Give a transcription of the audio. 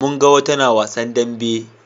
mun ga wata na wasan dambe